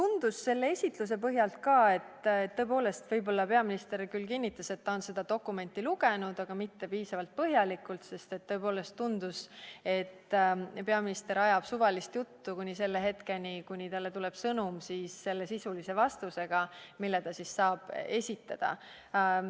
Ka selle esitluse põhjal tundus, et kui peaminister küll kinnitas, et ta on seda dokumenti lugenud, siis ei olnud ta seda teinud piisavalt põhjalikult, sest tõepoolest tundus, et peaminister ajab suvalist juttu kuni selle hetkeni, kui talle tuleb sõnum sisulise vastusega, mille ta siis saab esitada.